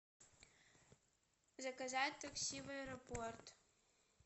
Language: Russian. заказать такси в аэропорт